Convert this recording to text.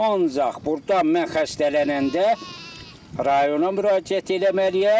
Ancaq burda mən xəstələnəndə rayona müraciət eləməliyəm.